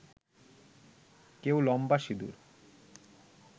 কেউ লম্বা সিঁদুর